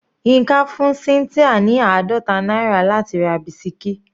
Yinka fún cynthia ní àádọta náírà láti ra bisikí.